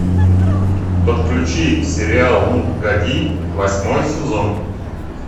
подключи сериал ну погоди восьмой сезон